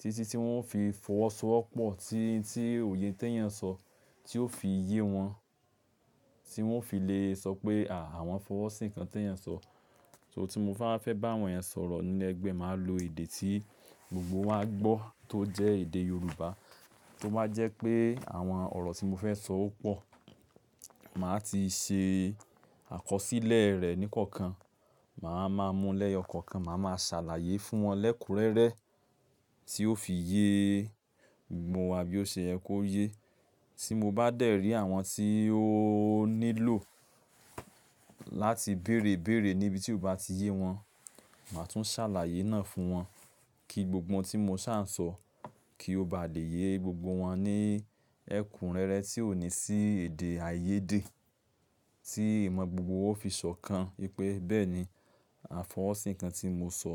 títí tí wọ́n fi fọwọ́sowọ́pọ̀ tí, tí òye tí ẹ̀èyàn sọ, tí ó fi yé wọn, tí wọ́n fi lè sọ pé à, àwọn fọwọ́sí kan tí ẹ̀èyàn sọ. So tí mo bá fẹ́ bá àwọn èèyàn sọ̀rọ̀ ní ẹgbẹ́, màá lo èdè tí gbogbo wa gbọ́ tó jẹ́ èdè Yorùbá. Tó bá jẹ́ pé àwọn ọ̀rọ̀ tí mo fẹ́ sọ ó pọ̀, màá ti ṣe àkọsílẹ̀ rẹ̀ ní kọ̀ọ̀kan. Màá máa mú lẹ̀ yọkọ̀ọ́kan, màá máa ṣàlàyé fún wọn lẹ́kùrẹ́rẹ́ tí ó fi yé gbogbo wà bí ó ṣe ẹ kó yé. Tí mo bá dẹ̀ rí àwọn tí ó nílò láti bèèrè ìbéèrè níbi tí ó bá ti yé wọn, màá tún ṣàlàyé náà fún wọn kí gbogbo ohun tí mo ṣá sọ kí ó ba lè yé gbogbo wọn ní ẹ̀kúnrẹ́rẹ́ tí ò ní sí èdè àìyédè tí ìmọ̀ gbogbo owó fi sọ kan wípé bẹ́ẹ̀ni àfọwọ́sí nnkan tí mo sọ.